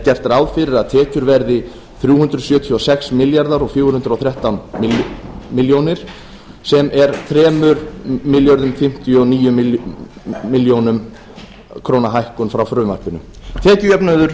gert ráð fyrir að tekjur verði þrjú hundruð sjötíu og sex þúsund fjögur hundruð og þrettán komma sjö ár sem er þrjú þúsund fimmtíu og átta komma níu ár hækkun frá frumvarpinu tekjujöfnuður